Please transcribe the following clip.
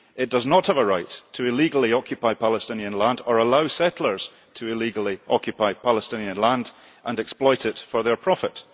It does not have a right to illegally occupy Palestinian land or allow settlers to illegally occupy Palestinian land and exploit it for their profit.